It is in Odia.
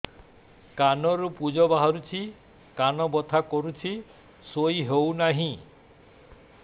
କାନ ରୁ ପୂଜ ବାହାରୁଛି କାନ ବଥା କରୁଛି ଶୋଇ ହେଉନାହିଁ